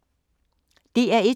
DR1